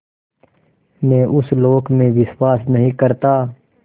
मैं उस लोक में विश्वास नहीं करता